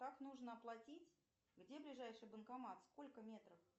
как нужно оплатить где ближайший банкомат сколько метров